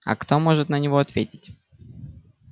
а кто может на него ответить